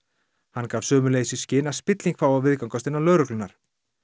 hann gaf sömuleiðis í skyn að spilling fái að viðgangast innan lögreglunnar